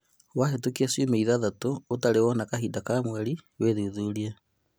Wahĩtũkia ciumia ithathatũ ũtarĩ wona kahinda ka mweri wĩthuthurie